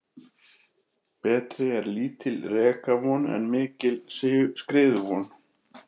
Betri er lítil rekavon en mikil skriðuvon.